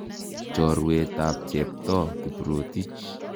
Chorwet ap Cheptoo Kiprotich.